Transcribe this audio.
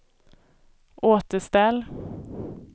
återställ